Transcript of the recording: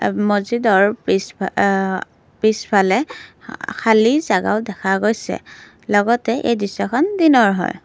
মজিদৰ পিছ অ পিছফালে খালী জাগাও দেখা গৈছে লগতে এই দৃশ্যখন দিনৰ হয়।